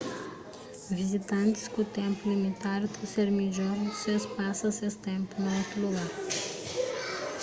vizitantis ku ténpu limitadu ta ser midjor es pasa ses ténpu na otu lugar